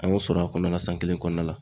An y'o sɔrɔ a kɔnɔna la san kelen kɔnɔna la.